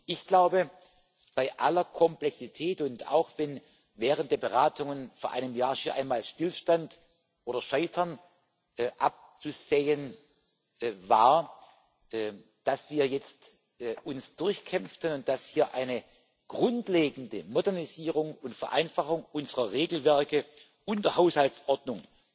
Ich glaube, bei aller Komplexität und auch, wenn während der Beratungen vor einem Jahr schon einmal Stillstand oder Scheitern abzusehen war, dass wir uns jetzt durchkämpften, und dass eine grundlegende Modernisierung und Vereinfachung unserer Regelwerke und der Haushaltsordnung